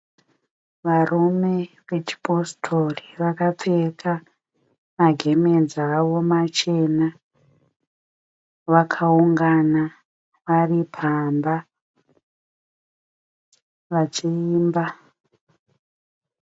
Varume vechipositori vakapfeka magemenzi avo machena vakaungana vari pamba vachiimba.